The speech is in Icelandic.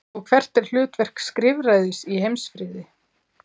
Og hvert er hlutverk skrifræðis í heimsfriði?